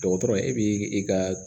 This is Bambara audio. Dɔgɔtɔrɔ e b'i ka